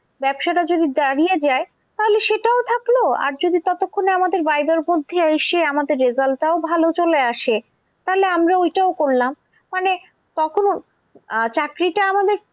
ব্যবসাটা যদি দাঁড়িয়ে যায় তাহলে সেটাও থাকলো আর যদি ততক্ষণে আমাদের viva র মধ্যে এসে আমাদের result টাও ভালো চলে আসে তাহলে আমরা ওইটাও করলাম। মানে আহ চাকরিটা আমাদের